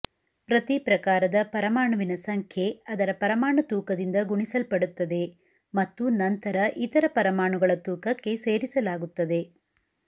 ಪ್ರತಿ ಪ್ರಕಾರದ ಪರಮಾಣುವಿನ ಸಂಖ್ಯೆ ಅದರ ಪರಮಾಣು ತೂಕದಿಂದ ಗುಣಿಸಲ್ಪಡುತ್ತದೆ ಮತ್ತು ನಂತರ ಇತರ ಪರಮಾಣುಗಳ ತೂಕಕ್ಕೆ ಸೇರಿಸಲಾಗುತ್ತದೆ